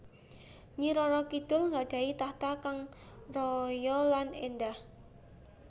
Nyi Roro Kidul gadhahi tahta kang raya lan endah